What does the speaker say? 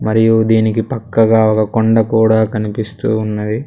మరియు దీనికి పక్కగా ఒక కొండ కూడా కనిపిస్తూ ఉన్నది.